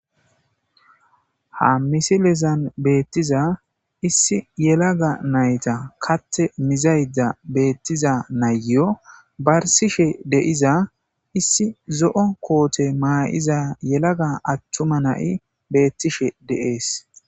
ha misilezan beettiza issi yelaga nayta katte mizayda beettiza nayyo barsishe de'iza issi zo7o koote maa7iza yelaga attuma nai beettishe dee'es